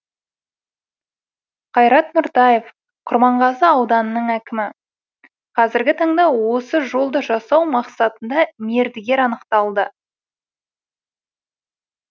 қайрат нұртаев құрманғазы ауданының әкімі қазіргі таңда осы жолды жасау мақсатында мердігер анықталды